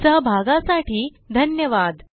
सहभागासाठी धन्यवाद